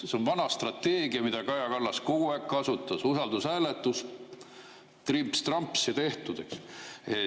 See on vana strateegia, mida Kaja Kallas kogu aeg on kasutanud: usaldushääletus, trimps-tramps ja tehtud, eks.